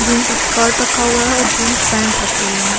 Jeans skirt रखे हुआ है और जींस पैंट रखे हुए हैं।